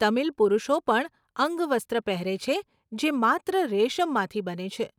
તમિલ પુરુષો પણ અંગવસ્ત્ર પહેરે છે જે માત્ર રેશમમાંથી બને છે.